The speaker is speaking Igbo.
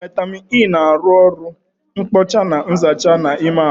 Vaitamịn E na arụ oru nkpocha na nzacha n'ime ahụ